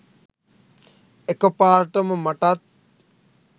එකපාරටම මටත්